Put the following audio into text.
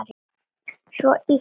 Svo ýtti